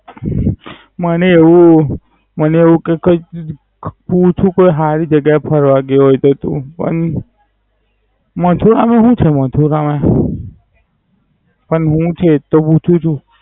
મને એવું, મને એવું કે કોઈક મુઠું પાર હારી જગ્યા એ ફરવા ગયો હોય તો તું પણ. મથુરા માં હુ છે મથુરા માં? પરનું છે એટલે જ તો પૂછું છું.